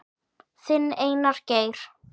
Þinn, Einar Geir.